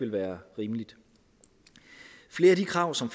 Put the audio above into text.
være rimeligt flere af de krav som